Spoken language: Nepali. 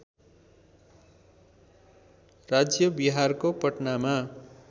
राज्य बिहारको पटनामा